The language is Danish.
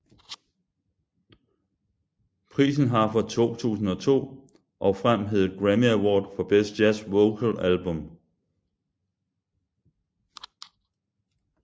Prisen har fra 2002 og frem heddet Grammy Award for Best Jazz Vocal Album